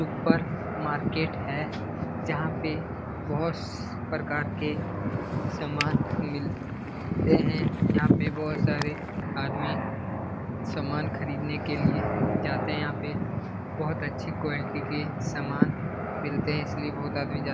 ऊपर मार्किट है । जहां पे बोहोत प्रकार के सामान मिलते हैं। यहा पे बोहोत सारे आदमी समान खरीदने के लिए जाते यहाँ पे । बोहोत अच्छी क्वालिटी के सामान मिलते हैं। इसलिए बोहोत आदमी जा --